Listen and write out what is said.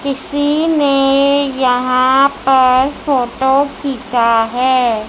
किसी ने यहां पर फोटो खींचा है।